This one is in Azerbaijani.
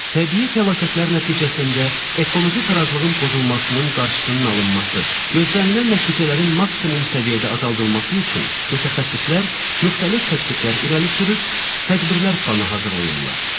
Təbii fəlakətlər nəticəsində ekoloji tarazlığın pozulmasının qarşısının alınması, gözlənilən nəticələrin maksimum səviyyədə azaldılması üçün mütəxəssislər müxtəlif təkliflər irəli sürür, tədbirlər planı hazırlayır.